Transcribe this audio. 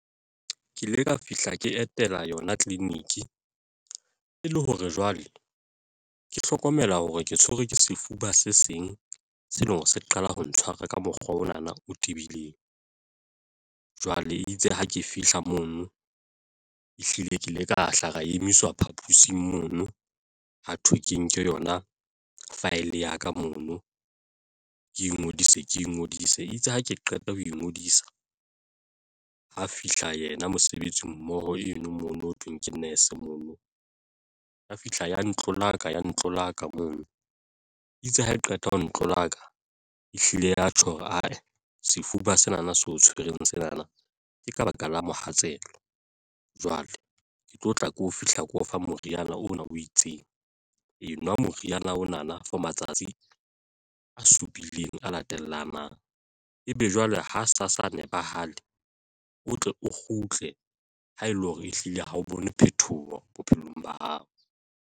Ke ile ka fihla ke etela yona tleliniki e le hore jwale ke hlokomela hore ke tshwerwe ke sefuba se seng se leng hore se qala ho ntshwara ka mokgwa ona na o tebileng, jwale e itse ha ke fihla mono ehlile ke ile ka hla ra emiswa phapusing mono ha thwe ke nke yona file ya ka mono ke ingodise, ke ingodise itse ha ke qeta ho ingodisa ha fihla yena mosebetsi mmoho eno mono ho thweng ke nese mono ya fihla ya ntlo laka ya ntlo laka mono itse ha e qeta ho ntlo laka ehlile ya tjho hore ae sefuba sena na se o tshwereng sena na. Ke ka baka la mohatsela jwale ke tlo tla ke tlo fihla, ke o fa moriana ona o itseng enwa moriana ona na for matsatsi a supileng a latelang mang e be jwale ha sa sa shebahale o tle o kgutle ha ele hore ehlile ha o bone phethoho bophelong ba hao.